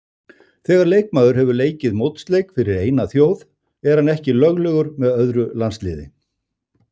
Þegar leikmaður hefur leikið mótsleik fyrir eina þjóð er hann ekki löglegur með öðru landsliði.